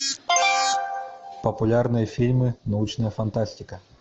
популярные фильмы научная фантастика